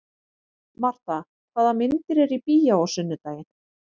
Marta, hvaða myndir eru í bíó á sunnudaginn?